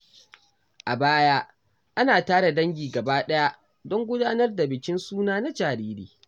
A baya, ana tara dangi gaba ɗaya don gudanar da bikin suna na jariri.